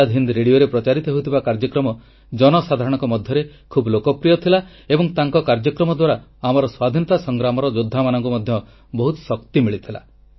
ଆଜାଦ ହିନ୍ଦ ରେଡ଼ିଓରେ ପ୍ରଚାରିତ ହେଉଥିବା କାର୍ଯ୍ୟକ୍ରମ ଜନସାଧାରଣଙ୍କ ମଧ୍ୟରେ ଖୁବ୍ ଲୋକପ୍ରିୟ ଥିଲା ଏବଂ ତାଙ୍କ କାର୍ଯ୍ୟକ୍ରମ ଦ୍ୱାରା ଆମର ସ୍ୱାଧୀନତା ସଂଗ୍ରାମର ଯୋଦ୍ଧାମାନଙ୍କୁ ମଧ୍ୟ ବହୁତ ଶକ୍ତି ମିଳିଥିଲା